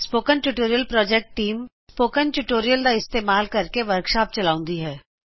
spoken tutorial project team spoken tutorial ਦਾ ਇਸਤਿਮਾਲ ਕਰਕੇ ਵੀ ਚਲਾਉੰਦੀ ਹੈ